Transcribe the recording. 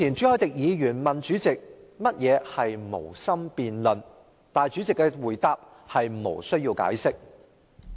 朱凱廸議員較早前問主席何謂"無心辯論"，主席的答覆是"無須解釋"。